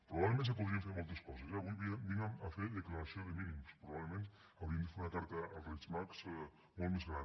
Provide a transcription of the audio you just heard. probablement se podrien fer moltes coses eh avui vinc a fer declaració de mínims probablement hauríem de fer una carta als reis mags molt més gran